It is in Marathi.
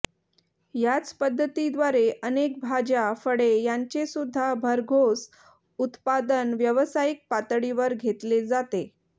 ह्याच पद्धतीद्वारे अनेक भाज्या फळे ह्यांचे सुद्धा भरघोस उत्पादन व्यावसायिक पातळीवर घेतले जाते